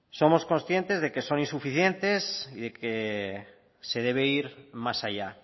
somos conscientes de que son insuficientes y que se debe ir más allá